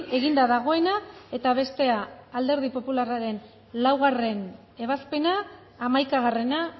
eginda dagoena eta bestea alderdi popularraren laugarren ebazpena hamaikagarrena